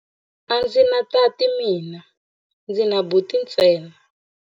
A ndzi na tati mina, ndzi na buti ntsena.